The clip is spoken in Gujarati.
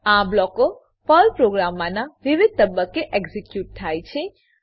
આ બ્લોકો પર્લ પ્રોગ્રામનાં વિવિધ તબક્કે એક્ઝીક્યુટ થાય છે